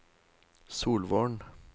Solvorn